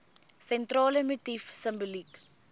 sentrale motief simboliek